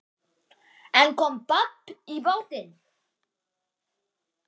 En kom babb í bátinn.